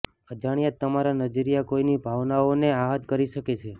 અજાણ્યા જ તમારા નજરીયા કોઈ ની ભાવનાઓ ને આહત કરી શકે છે